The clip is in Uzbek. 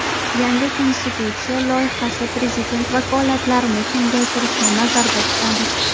Yangi konstitutsiya loyihasi prezident vakolatlarini kengaytirishni nazarda tutadi.